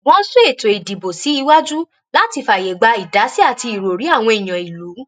wọ́n sún eto ìdìbò sí iwájú làti fààyè gba ìdásí àti ìròrí àwọn èèyàn ìlú